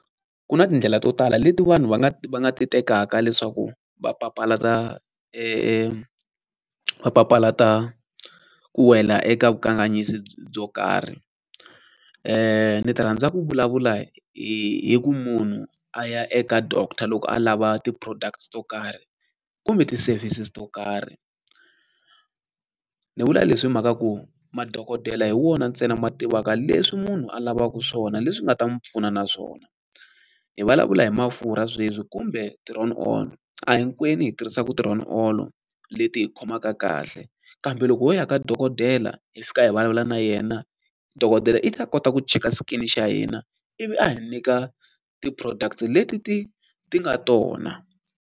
Ku na tindlela to tala leti vanhu va nga va nga ti tekaka leswaku va papalata va papalata ku wela eka vukanganyisi byo karhi. Ni rhandza ku vulavula hi hi ku munhu a ya eka doctor loko a lava ti-products to karhi kumbe ti-services to karhi. Ni vula leswi mhaka ku madokodela hi wona ntsena ma tivaka leswi munhu a lavaka swona leswi nga ta n'wi pfuna naswona. Hi vulavula hi mafurha sweswi kumbe ti-roll-on, a hi hinkwenu hi tirhisaka ti-roll-on leti hi khomaka kahle, kambe loko ho ya ka dokodela hi fika hi vulavula na yena, dokodela i ta kota ku cheka skin xa hina ivi a hi nyika ti-products leti ti ti nga tona.